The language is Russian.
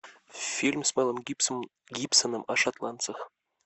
фильм с мелом гибсоном о шотландцах